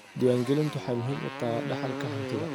Diiwaangelintu waxay muhiim u tahay dhaxalka hantida.